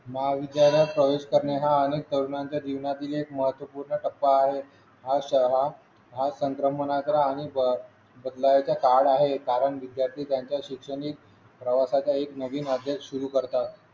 महाविद्यालयात प्रवेश करणे हा अनेक तरुणांचा जीवनातील एक महत्वपूर्ण टप्पा आहे हा सैलाब हा तंत्र मनग्र आणि बदलावाचा काळ आहे कारण विद्यार्थी त्यांच्या शैक्षणिक प्रवासाचा एक नवीन अध्याय सुरू करतात